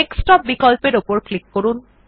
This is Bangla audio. ডেস্কটপ বিকল্প এর উপর ক্লিক করুন